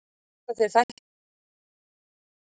Ég hélt að þér þætti svo gott að kúra á laugardögum.